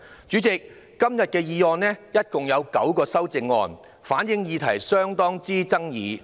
主席，今天的議案共有9項修正案，反映議題甚具爭議。